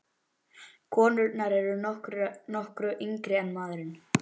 Konurnar eru nokkru yngri en maðurinn.